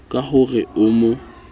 ka ho re o mo